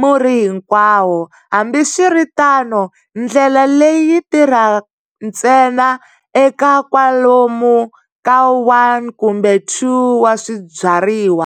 murhi hinkwawo. Hambiswiritano, ndlela leyi yi tirha ntsena eka kwalomu ka 1 kumbe 2 wa swibyariwa.